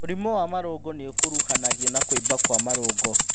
Mũrimũ wa marũngo nĩũkuruhanagio na kũimba kwa marũngo